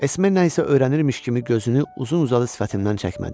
Esme isə öyrənirmiş kimi gözünü uzun-uzadı sifətimdən çəkmədi.